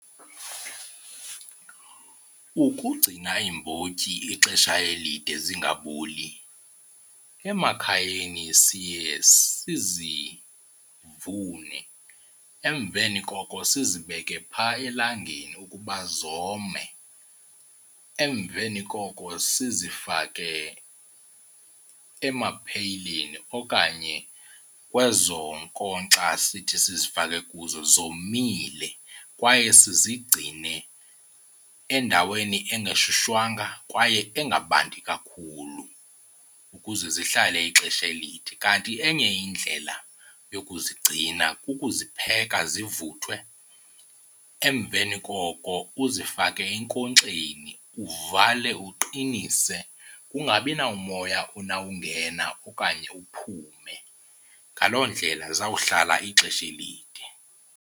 Ukugcina iimbotyi ixesha elide zingaboli, emakhayeni siye sizivune emveni koko sizibeke phaa elangeni ukuba zome. Emveni koko sizifake amapheyileni okanye kwezo nkonkxa sithi sizifake kuzo zomile kwaye sizigcine endaweni engashushwanga kwaye engabandi kakhulu ukuze zihlale ixesha elide. Kanti enye indlela yokuzigcina kukuzipheka zivuthwe emveni koko uzifake enkonkxeni uvale, uqinise kungabi namoya unawungena okanye uphume. Ngaloo ndlela zawuhlala ixesha elide.